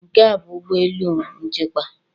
Nke, ọ bụ ụlọ elu nchịkwa?